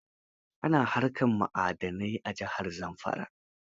Ana haƙar ma'adanai a jihar Zamfara.